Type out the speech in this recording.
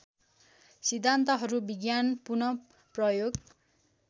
सिद्धान्तहरू विज्ञान पुनःप्रयोग